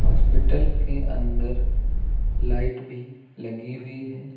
Hospital के अंदर light भी लगी हुई है।